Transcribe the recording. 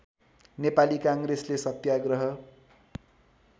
नेपाली काङ्ग्रेसले सत्याग्रह